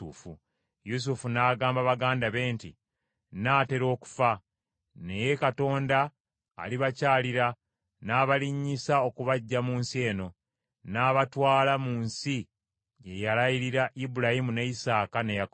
Yusufu n’agamba baganda be nti, “Nnaatera okufa, naye Katonda alibakyalira n’abalinnyisa okubaggya mu nsi eno; n’abatwala mu nsi gye yalayirira Ibulayimu, ne Isaaka ne Yakobo.”